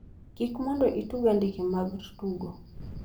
Kiki mondo itug andike mar tugo